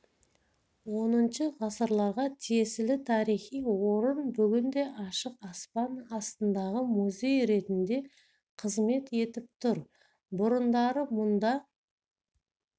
хі ғасырларға тиесілі тарихи орын бүгінде ашық аспан астындағы музей ретінде қызмет етіп тұр бұрындары мұнда